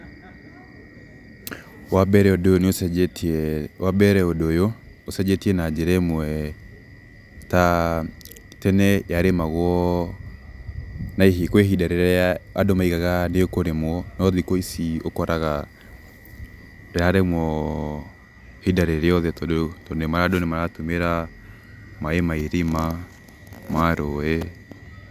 Wambere ũndũ ũyũ nĩũcenjetie, wambere ũndũ ũyũ ũcenjetie na njĩra ĩmwe ta tene yarĩmagwo na kwĩ ihinda rĩrĩa andũ maugaga nĩĩkũrĩmwo, no thikũ ici ũkoraga ĩrarĩmwo ihinda rĩrĩothe tondũ andũ nĩmaratũmĩra maĩ ma irima, ma rũĩ.